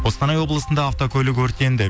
қостанай облысында автокөлік өртенді